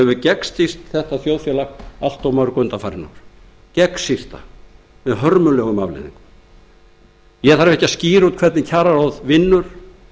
sem hefur gegnsýrt þetta þjóðfélag allt of mörg undanfarin ár gegnsýrt það með hörmulegum afleiðingum ég þarf ekki að skýra út hvernig kjararáð vinnur